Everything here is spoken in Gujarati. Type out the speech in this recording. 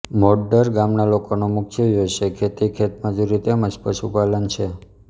મોડદર ગામના લોકોનો મુખ્ય વ્યવસાય ખેતી ખેતમજૂરી તેમ જ પશુપાલન છે